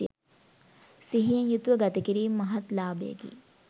සිහියෙන් යුතුව ගතකිරීම මහත් ලාභයකි.